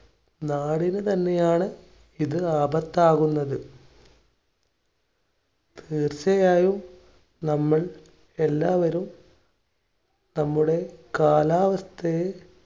നാടിനു തന്നെയാണ് ഇത് ആപത്താകുന്നത്. തീർച്ചയായും നമ്മളെല്ലാവരും നമ്മുടെ കാലാവസ്ഥയെ